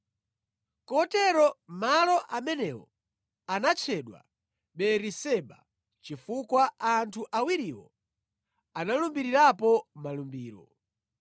Kotero malo amenewo anatchedwa Beeriseba, chifukwa anthu awiriwo analumbirirapo malumbiro.